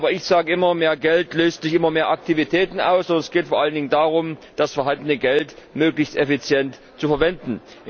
Aber ich sage immer Mehr Geld löst immer mehr Aktivitäten aus. Und es geht vor allem darum, das erhaltene Geld möglichst effizient zu verwenden.